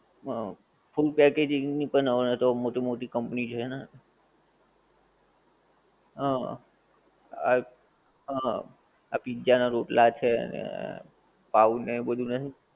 હં. food packaging ની પણ હવે તો મોટી મોટી company છે ને. હં આ હં આ પિઝા નાં રોટલા છે ને પાંવ ને એ બધુ નથી.